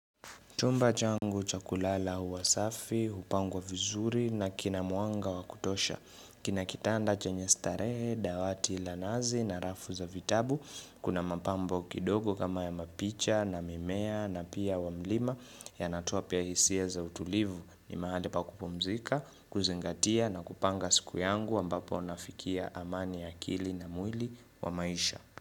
Chumba changu cha kulala huwa safi, hupangwa vizuri na kina mwanga wa kutosha. Kina kitanda chenye starehe, dawati la nazi na rafu za vitabu. Kuna mapambo kidogo kama ya mapicha na mimea na pia wa mlima yanatoa pia hisia za utulivu. Ni mahali pa kupumzika, kuzingatia na kupanga siku yangu ambapo nafikia amani ya akili na mwili kwa maisha.